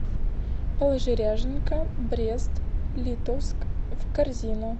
положи ряженка брест литовск в корзину